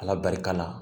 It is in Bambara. Ala barika la